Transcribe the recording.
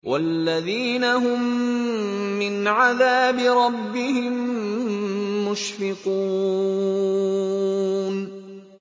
وَالَّذِينَ هُم مِّنْ عَذَابِ رَبِّهِم مُّشْفِقُونَ